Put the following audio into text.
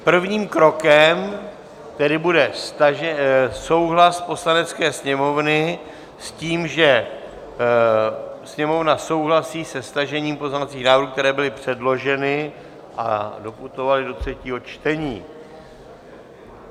Prvním krokem tedy bude souhlas Poslanecké sněmovny s tím, že Sněmovna souhlasí se stažením pozměňovacích návrhů, které byly předloženy a doputovaly do třetího čtení.